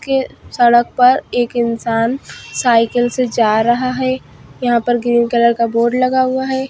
एक सड़क पर एक इंसान साइकिल से जा रहा है यहाँ पर ग्रीन कलर का बोर्ड लगा हुआ है।